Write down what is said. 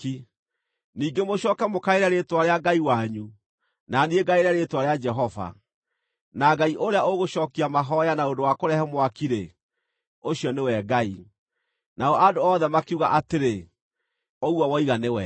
Ningĩ mũcooke mũkaĩre rĩĩtwa rĩa ngai wanyu, na niĩ ngaĩre rĩĩtwa rĩa Jehova. Na ngai ũrĩa ũgũcookia mahooya na ũndũ wa kũrehe mwaki-rĩ, ũcio nĩwe Ngai.” Nao andũ othe makiuga atĩrĩ, “Ũguo woiga nĩ wega.”